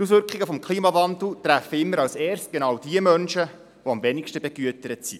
Die Auswirkungen des Klimawandels treffen immer als Erstes genau diejenigen, die am wenigsten begütert sind.